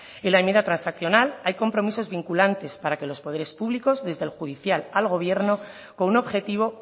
en la enmienda transaccional hay compromisos vinculantes para que los poderes públicos desde el judicial al gobierno con un objetivo